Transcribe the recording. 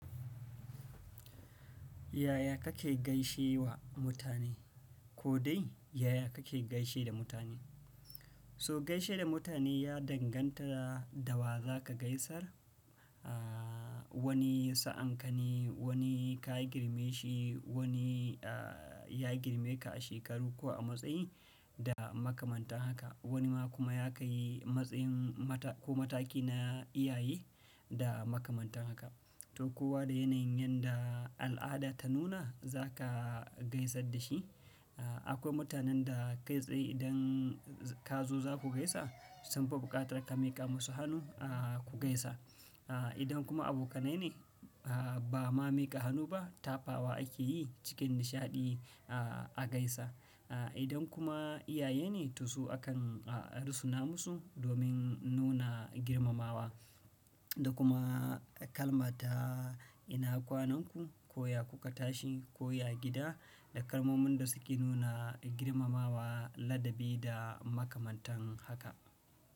Yaya kake gaishe wa mutane? Ko dai yaya kake gaishe da mutane? To gaishe da mutane ya danganta da wa za ka gaisar, aa wani sa'an ka ne wani ka girme shi wani aa ya girme ka a shekaru ko a matsayi da makamantan haka. Wani ma kuma ya ka yi matsayin mata ko mataki na iyaye da makamantan haka. To kowa da yanayin yanda al'ada ta nuna za ka gaisar da shi. Aa akwai mutanen da kai tsaye idan kazo za ku gaisa sunfi buƙatar ka miƙa musu hannu aa ku gaisa. Aa idan kuma abokanai ne aa ba ma miƙa hannu ba tafawa ake yi cikin nishaɗi aa a gaisa. Aa idan kuma iyaye ne to su akan aa rusuna musu domin nuna girmamawa da kuma kalma ta ina kwanan ku? Ko ya ku ka tashi? Ko ya gida? Da kalmomin da suke nuna girmamawa ladabi da makamantan haka.